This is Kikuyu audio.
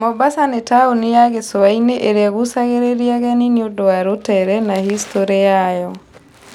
Mombasa nĩ taũni ya gĩcũa-inĩ ĩrĩa ĩgucagĩrĩria ageni nĩ ũndũ wa rũtere na historĩ yayo.